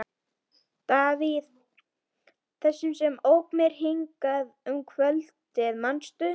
Davíð, þessum sem ók mér hingað heim um kvöldið, manstu?